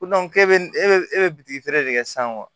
Ko e bɛ bitigi feere de san wa